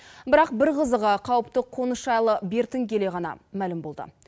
бірақ бір қызығы қауіпті қоныс жайлы бертін келе ғана мәлім болды